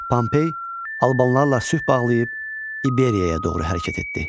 Pompey albanlarla sülh bağlayıb İberiyaya doğru hərəkət etdi.